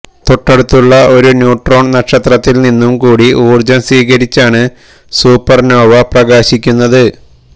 തൊട്ടടുത്തുള്ള ഒരു ന്യൂട്രോൺ നക്ഷത്രത്തിൽ നിന്നു കൂടി ഊർജം സ്വീകരിച്ചാണ് സൂപ്പർനോവ പ്രകാശിക്കുന്നത്